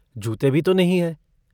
जूते भी तो नहीं हैं।